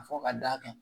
Fɔ ka d'a kan